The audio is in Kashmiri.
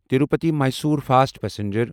Tirupati Mysore fast passenger